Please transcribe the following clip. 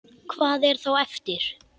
Hvað er þá eftir?